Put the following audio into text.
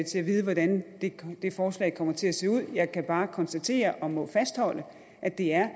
vide hvordan det forslag kommer til at se ud jeg kan bare konstatere og må fastholde at det er